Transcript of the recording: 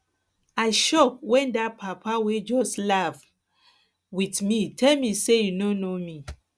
i shock wen dat papa wey just laugh um with me tell me say he no know me